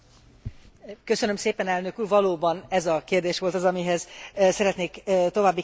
Valóban ez a kérdés volt az, amihez szeretnék további kérdéseket föltenni vagy hozzászólni.